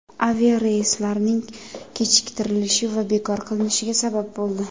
aviareyslarning kechiktirilishi va bekor qilinishiga sabab bo‘ldi.